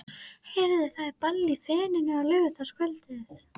Heyrðu, það er ball í Feninu á laugardagskvöldið.